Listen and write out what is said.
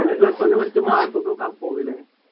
plus one പഠിച്ച mark ഒക്കെ പോകുമല്ലേ?